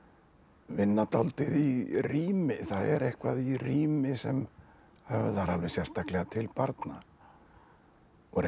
vinna dálítið í rími það er eitthvað í rími sem höfðar alveg sérstaklega til barna og reyndar